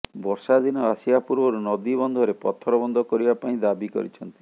ବର୍ଷା ଦିନ ଆସିବା ପୂର୍ବରୁ ନଦୀବନ୍ଧରେ ପଥର ବନ୍ଧ କରିବା ପାଇଁ ଦାବି କରିଛନ୍ତି